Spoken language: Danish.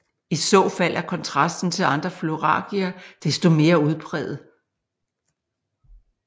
I så fald er kontrasten til andre florariger desto mere udpræget